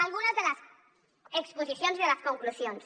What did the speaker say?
algunes de les exposicions i de les conclusions